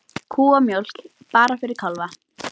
Kúamjólk bara fyrir kálfa